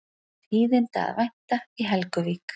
Tíðinda að vænta í Helguvík